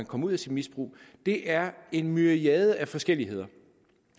komme ud af sit misbrug det er en myriade af forskelligheder